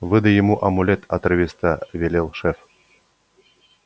выдай ему амулет отрывисто велел шеф